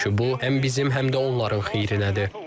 Çünki bu həm bizim, həm də onların xeyrinədir.